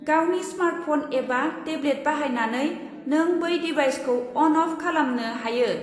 गावनि स्मार्टफन एबा टेब्लेट बाहायनानै नों बै दिभाइसखौ अन अफ खालामनो हायो।